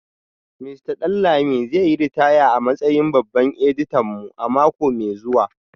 Mista Danlami zai yi ritaya a matsayin babban editan mu a mako mai zuwa